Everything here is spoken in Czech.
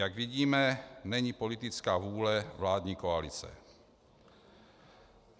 Jak vidíme, není politická vůle vládní koalice.